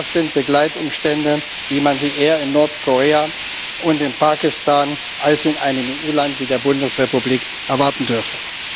Das sind Begleitumstände, wie man sie eher in Nordkorea und in Pakistan als in einem EU Land wie der Bundesrepublik erwarten dürfte.